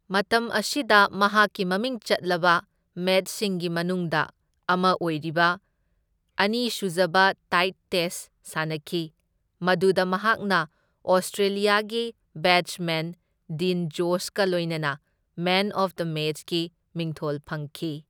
ꯃꯇꯝ ꯑꯁꯤꯗ ꯃꯍꯥꯛꯀꯤ ꯃꯃꯤꯡ ꯆꯠꯂꯕ ꯃꯦꯆꯁꯤꯡꯒꯤ ꯃꯅꯨꯡꯗ ꯑꯃ ꯑꯣꯢꯔꯤꯕ ꯑꯅꯤꯁꯨꯖꯕ ꯇꯥꯢꯗ ꯇꯦꯁꯠ ꯁꯥꯟꯅꯈꯤ, ꯃꯗꯨꯗ ꯃꯍꯥꯛꯅ ꯑꯣꯁꯇ꯭ꯔꯦꯂꯤꯌꯥꯒꯤ ꯕꯦꯠꯁꯃꯦꯟ ꯗꯤꯟ ꯖꯣꯟꯁꯀ ꯂꯣꯢꯅꯅ ꯃꯦꯟ ꯑꯣꯐ ꯗ ꯃꯦꯆꯀꯤ ꯃꯤꯡꯊꯣꯜ ꯐꯪꯈꯤ꯫